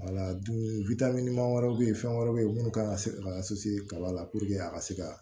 wɛrɛw bɛ ye fɛn wɛrɛw bɛ ye munnu kan ka se ka kaba la a ka se ka